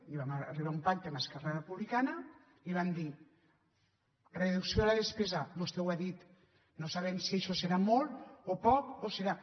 i vam arribar a un pacte amb esquerra republicana i vam dir reducció de la despesa vostè ho ha dit no sabem si això serà molt o poc o serà